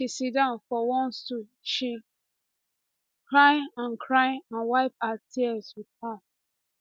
she siddon for one stool she cry and cry and wipe her tears wit her